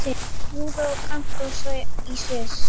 Júra er kantóna í Sviss.